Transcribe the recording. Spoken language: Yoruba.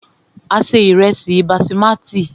A se ìrẹ́sí basimati.